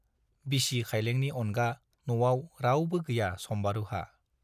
बिसि खाइलेंनि अनगा न'आव रावबो गैया सम्बारुहा।